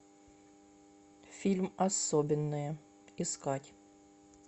фильм особенные искать